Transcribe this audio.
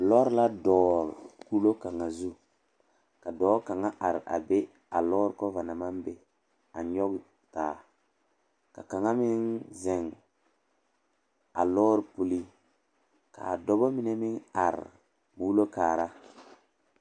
Lɔɔre la dɔgle kuro kaŋa zu ka dɔɔ kaŋa are a be a lɔɔre kɔva naŋ maŋ be a nyɔge taa ka kaŋa meŋ zeŋ a lɔɔre puli k,a dɔba mine meŋ are muulo kaara.